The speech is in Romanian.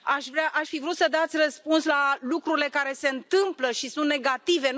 Aș fi vrut să dați răspuns la lucrurile care se întâmplă și sunt negative.